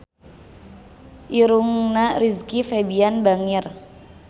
Irungna Rizky Febian bangir